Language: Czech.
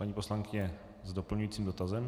Paní poslankyně s doplňujícím dotazem.